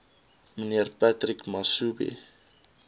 mnr patrick masobe